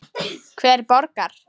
Hver borgar?